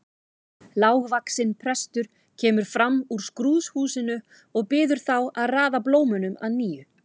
Lágvaxinn prestur kemur fram úr skrúðhúsinu og biður þá að raða blómunum að nýju.